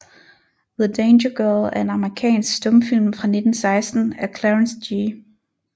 The Danger Girl er en amerikansk stumfilm fra 1916 af Clarence G